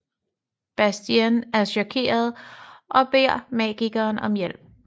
Bastien er chokeret og beder magikeren om hjælp